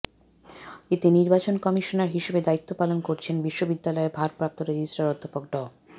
এতে নির্বাচন কমিশনার হিসেবে দায়িত্ব পালন করছেন বিশ্ববিদ্যালয়ের ভারপ্রাপ্ত রেজিস্ট্রার অধ্যাপক ড